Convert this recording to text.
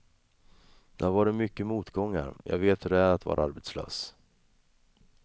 Det har varit mycket motgångar, jag vet hur det är att vara arbetslös.